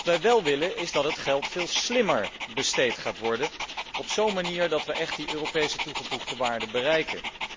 Wat wij wel willen, is dat het geld veel slimmer besteed gaat worden, op zo'n manier dat we echt die Europese toegevoegde waarde bereiken.